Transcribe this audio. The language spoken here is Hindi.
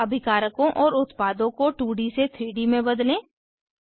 अब अभिकारकों और उत्पादों को 2 डी से 3 डी में बदलें